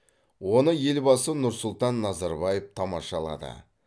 оны елбасы нұрсұлтан назарбаев тамашалады